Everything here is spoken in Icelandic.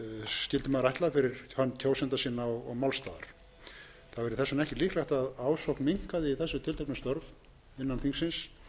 maður ætla fyrir hönd kjósenda sinna og málstaðar það væri þess vegna ekkert líklegt að ásókn minnkaði í þessi tilteknu störf innan þingsins